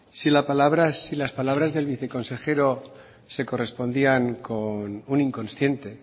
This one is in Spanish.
si las palabras del viceconsejero se correspondían con un inconsciente